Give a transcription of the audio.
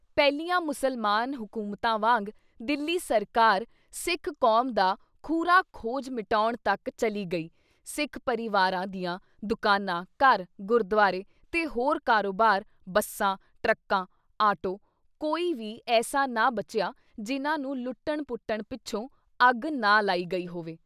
ਪਹਿਲੀਆਂ ਮੁਸਲਮਾਨ ਹਕੂਮਤਾਂ ਵਾਂਗ ਦਿੱਲੀ ਸਰਕਾਰ ਸਿੱਖ ਕੌਮ ਦਾ ਖੁਰਾ ਖੋਜ ਮਿਟਾਉਣ ਤੱਕ ਚਲੀ ਗਈ, ਸਿੱਖ ਪਰਿਵਾਰਾਂ ਦੀਆਂ ਦੁਕਾਨਾਂ, ਘਰ, ਗੁਰਦੁਆਰੇ ਤੇ ਹੋਰ ਕਾਰੋਬਾਰ, ਬੱਸਾਂ, ਟਰੱਕਾਂ, ਆਟੋ ਕੋਈ ਵੀ ਐਸਾ ਨਾ ਬਚਿਆ ਜਿਨ੍ਹਾਂ ਨੂੰ ਲੁੱਟਣ- ਪੁੱਟਣ ਪਿੱਛੋਂ ਅੱਗ ਨਾ ਲਾਈ ਗਈ ਹੋਵੇ।